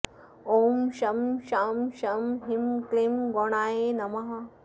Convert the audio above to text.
ॐ शं शां षं ह्रीं क्लीं गौणाय नमः